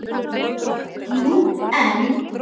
Jú, en